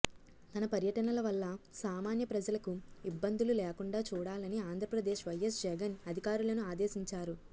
తన పర్యటనల వల్ల సామాన్య ప్రజలకు ఇబ్బందులు లేకుండా చూడాలని ఆంధ్రప్రదేశ్ వైఎస్ జగన్ అధికారులను ఆదేశించారు